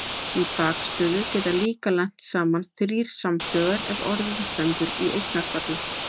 Í bakstöðu geta líka lent saman þrír samhljóðar ef orðið stendur í eignarfalli.